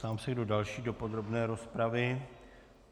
Ptám se, kdo další do podrobné rozpravy.